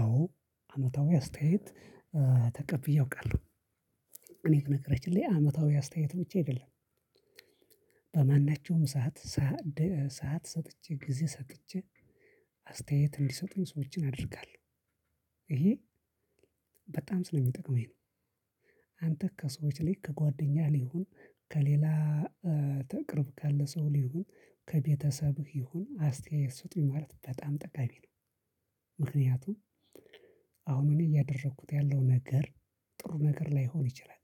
አዎ አመታዊ አስተያየት ተቀብዬ አውቃለሁ። እኔ በነገራችን ላይ ላይ አመታዊ አስተያየቶች ብቻ አይደለም። በማናቸውም ሰዓት ሰዓት ሰጥቼ ጊዜ ሰጥቼ አስተያየት እንዲሰጡኝ ሰዎችን አድርጋለሁ ይሄ በጣም ስለሚጠቅመኝ ነው። አንተ ከሰዎች ላይ ከጓደኛህ ላይ ይሁን ከሌላ በቅርብ ካለ ሰው ላይ ይሁን ከቤተሰብህ ይሁን አስተያየት ስጡኝ ማለት በጣም ጠቃሚ ነው። ምክንያቱም አሁን እኔ እያደረኩት ያለው ነገር ጥሩ ነገር ላይሆን ይችላል።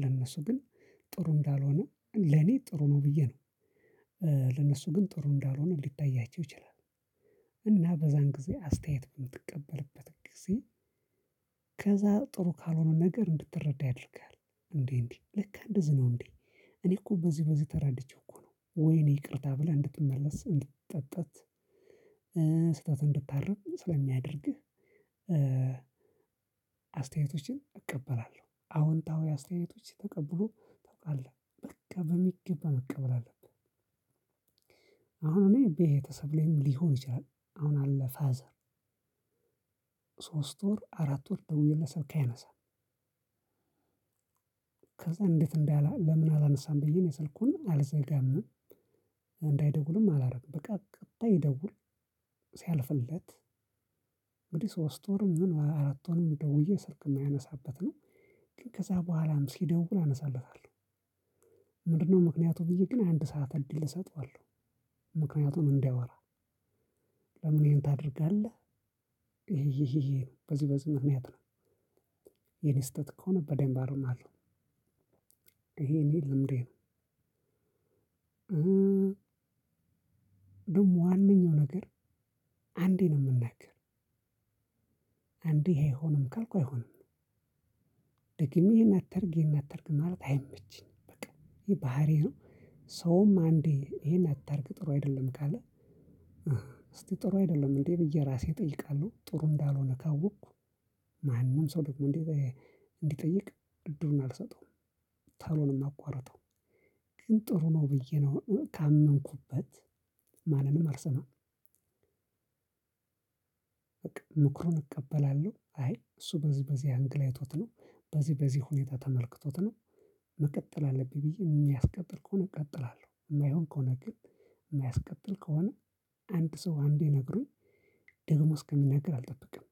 ለእነሱ ግን ጥሩ እንዳልሆነ ለኔ ጥሩ ነው ብዬ ነው። ለነሱ ግን ጥሩ እንዳልሆነ ሊታያቸው ይችላል። እና በዛን ጊዜ አስተያየት በምትቀበልበት ጊዜ። ከዛ ጥሩ ካልሆነ ነገር እንድትረዳ ያደርጋል እንዴ እንዴ ልክ እንደዚህ ነው እንዴ? እኔ እኮ በዚህ በዚህ ተረድቼ እኮ ነው ወይኔ ይቅርታ ብለህ እንድትመለስ እንድትጸጸት። ስህተት እንድታርም ስለሚያደርግህ። አስተያየቶችን እቀበላለሁ። አዎንታዊ አስተያየቶች ተቀብሎ ታውቃለህ በቃ በሚገባ መቀበል አለብህ። አሁን እኔ ቤተሰብ ላይም ሊሆን ይችላል። አሁን አለ ፋዘር ሶስት ወር አራት ወር ደውዬለት ስልክ አያነሳም። ከዛ እንዴት እንዳለ ለምን አላነሳም ብዬ እኔ ስልኩን አልዘጋም። እንዳይደውልም አላረግም በቃ ቀጣይ ይደውል። ሲያልፍለት እንግዲህ ሶስት ወርም ይሁን አራት ወርም ደውዬ ስልክ የማያነሳበት ነው። ከዛ በኋላም ሲደውል አነሳለታለሁ። ምንድነው? ምክንያቱ ብዬ ግን አንድ ሰዓት እድል እሰጠዋለሁ። ምክንያቱም እንዳይወራ። ለምን ይሄን ታደርጋለህ? ይሄ ይሄ ይሄ በዚህ በዚህ ምክንያት ነው። የኔ ስህተት ከሆነ በደንብ አርማለሁ። ይሄ እኔ ልምዴ ነው። ደግሞ ዋነኛው ነገር አንዴ ነው የምናገር። አንዴ ይሄ አይሆንም ካልኩ አይሆንም። ደግሜ ይሄን አታርግ ይሄን አታርግ ማለት አይመችኝም። በቃ ይሄ ባህሪዬ ነው። ሰውም አንዴ ይሄን አታርግ ጥሩ አይደለም ካለ። እስቲ ጥሩ አይደለም እንዴ ብዬ ራሴ እጠይቃለሁ። ጥሩ እንዳልሆነ ካወቅኩ። ማንም ሰው ደግሞ እንዲጠይቅ እድሉን አልሰጠውም። ቶሎ ነው የማቋርጠው። ግን ጥሩ ነው ብዬ ነው ካመንኩበት ማንንም አልሰማም። በቃ ምክሩን እቀበላለሁ አይ እሱ በዚህ በዚህ አንግል አይቶት ነው። በዚህ በዚህ ሁኔታ ተመልክቶት ነው። መቀጠል አለብኝ ብዬ የሚያስቀጥል ከሆነ እቀጥላለሁ። የማይሆን ከሆነ ግን የማያስቀጥል ከሆነ አንድ ሰው አንዴ ነግሮኝ ደግሞ እስከሚነግር አልጠብቅም።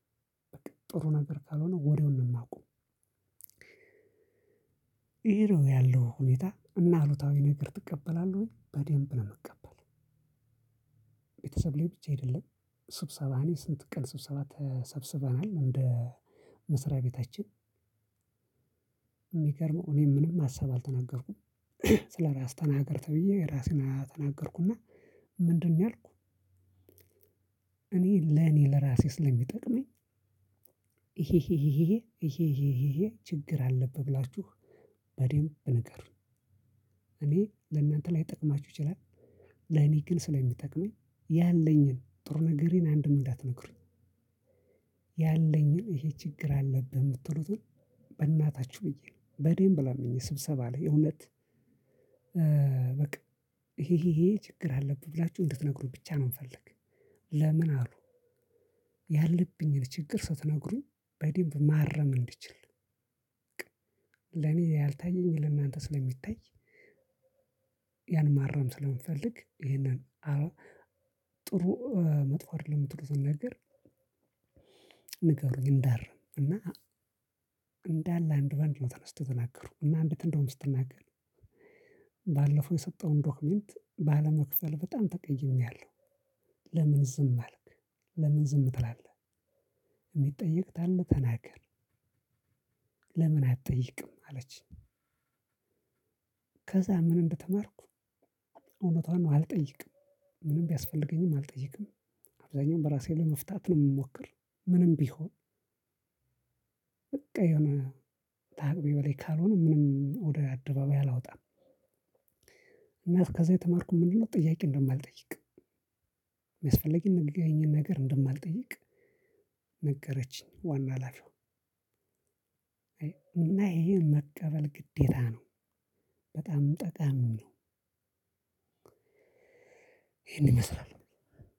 ጥሩ ነገር ካልሆነ ወሬውን ነው የማቆመው። ይሄ ነው ያለው ሁኔታ እና አሉታዊ ነገር ትቀበላለህ ወይ በደንብ ነው የምቀበለው። ቤተሰብ ላይ ብቻ አይደለም። ስብሰባ እኔ ስንት ቀን ስብሰባ ተሰብስበናል እንደ መስሪያ ቤታችን። የሚገርመው እኔም ምንም ሀሳብ አልተናገርኩም። ስለራስ ተናገር ተብዬ ራሴን ተናገርኩና ምንድነው ያልኩኝ? እኔ ለኔ ለራሴ ስለሚጠቅመኝ። ይሄ ይሄ ይሄ ይሄ ይሄ ይሄ ችግር አለብህ ብላችሁ በደንብ ንገሩኝ። እኔ ለእናንተ ላይጠቅማችሁ ይችላል። ለኔ ግን ስለሚጠቅመኝ ያለኝን ጥሩ ነገሬን አንድም እንዳትነግሩኝ። ያለኝን ይሄ ችግር አለብህ የምትሉትን። በእናታችሁ ብዬ ነው በደንብ ለምኜ ስብሰባ ላይ እውነት። በቃ ይሄ ይሄ ይሄ ችግር አለብህ ብላችሁ እንድትነግሩኝ ብቻ ነው የምፈልግ። ለምን አሉ? ያለብኝን ችግር ስትነግሩኝ በደንብ ማረም እንድችል። ለኔ ያልታየኝ ለእናንተ ስለሚታይ። ያን ማረም ስለምፈልግ ይሄንን። ጥሩ መጥፎ አይደለም ጥሩ ስንነግር። እንዳርም እና እንዳለ አንድ በአንድ ነው ተነስተው ተናገሩ እና አንዲት እንደውም ስትናገር ባለፈው የሰጠውህን ዶክመንት ባለመክፈልህ በጣም ተቀይሜሀለሁ። ለምን ዝም አልክ? ለምን ዝም ትላለህ? የሚጠየቅ ካለ ተናገር። ለምን አትጠይቅም አለችኝ። ከዛ ምን እንደተማርኩ። እውነቷን ነው አልጠይቅም። ምንም ቢያስፈልገኝም አልጠይቅም። አብዛኛውን በራሴ ለመፍታት ነው የምሞክር። ምንም ቢሆን። በቃ የሆነ ከአቅሜ በላይ ካልሆነ ምንም ወደ አደባባይ አላወጣም። እና ከዛ የተማርኩት ምንድነው? ጥያቄ እንደማልጠይቅ የሚያስፈልገኝን ነገር እንደማልጠይቅ። ነገረችኝ ዋና ሀላፊዋ። እና ይሄን መቀበል ግዴታ ነው። በጣም ጠቃሚ ነው። ይሄንን ይመስላል።